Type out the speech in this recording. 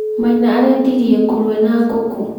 Maina arendirie ngũrũwe na ngũkũ .